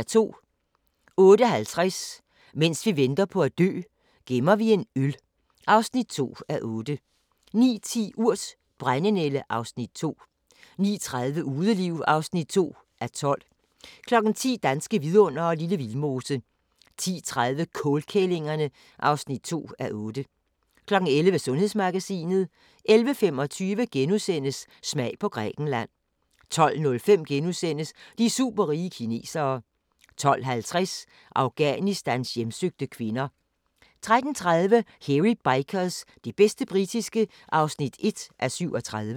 08:50: Mens vi venter på at dø - gemmer vi en øl (2:8) 09:10: Urt: Brændenælde (Afs. 2) 09:30: Udeliv (2:12) 10:00: Danske vidundere: Lille Vildmose 10:30: Kålkællingerne (2:8) 11:00: Sundhedsmagasinet 11:25: Smag på Grækenland * 12:05: De superrige kinesere * 12:50: Afghanistans hjemsøgte kvinder 13:30: Hairy Bikers – det bedste britiske (1:37)